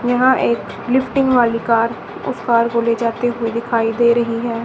यहां एक लिफ्टिंग वाली कार उस कार को ले जाते हुए दिखाई दे रही है।